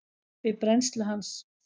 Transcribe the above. við brennslu hans.